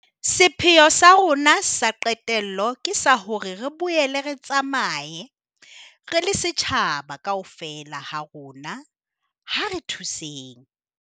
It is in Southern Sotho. Sepheo sa rona sa qetello ke sa hore re boele re tsamaye. Re le setjhaba, kaofela ha rona ha re thuseng.